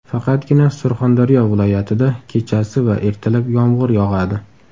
Faqatgina Surxondaryo viloyatida kechasi va ertalab yomg‘ir yog‘adi.